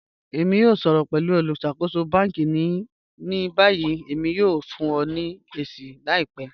Mọ̀ n ṣọ̀rọ̀ pẹ̀lú olùṣakòsò bánkì ní báyì, èmi yóò fún ọ̀ ní èṣì làìpẹ́.